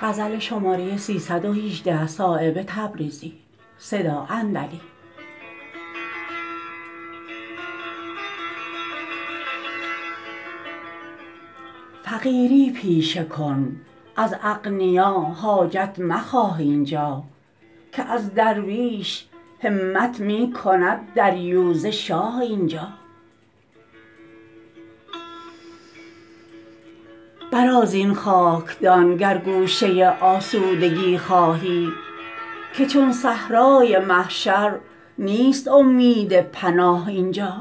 فقیری پیشه کن از اغنیا حاجت مخواه اینجا که از درویش همت می کند دریوزه شاه اینجا برآ زین خاکدان گر گوشه آسودگی خواهی که چون صحرای محشر نیست امید پناه اینجا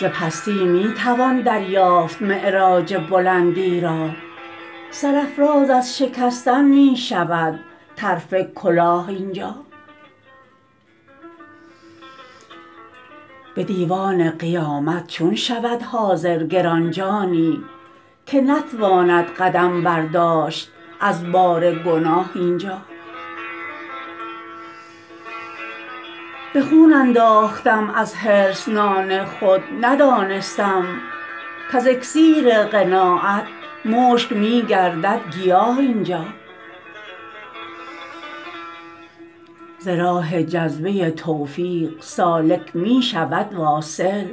ز پستی می توان دریافت معراج بلندی را سرافراز از شکستن می شود طرف کلاه اینجا به دیوان قیامت چون شود حاضر گرانجانی که نتواند قدم برداشت از بار گناه اینجا به خون انداختم از حرص نان خود ندانستم کز اکسیر قناعت مشک می گردد گیاه اینجا ز راه جذبه توفیق سالک می شود واصل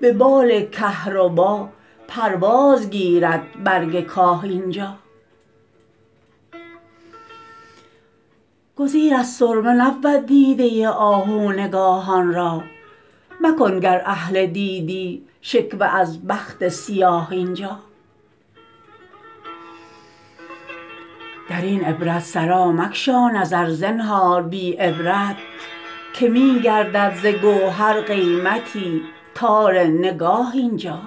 به بال کهربا پرواز گیرد برگ کاه اینجا گزیر از سرمه نبود دیده آهو نگاهان را مکن گر اهل دیدی شکوه از بخت سیاه اینجا درین عبرت سرا مگشا نظر زنهار بی عبرت که می گردد ز گوهر قیمتی تار نگاه اینجا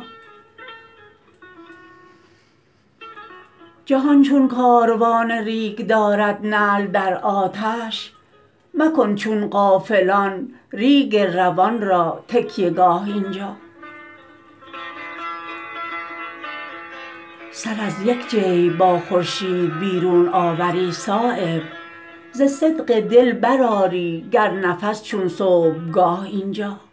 جهان چون کاروان ریگ دارد نعل در آتش مکن چون غافلان ریگ روان را تکیه گاه اینجا سر از یک جیب با خورشید بیرون آوری صایب ز صدق دل برآری گر نفس چون صبحگاه اینجا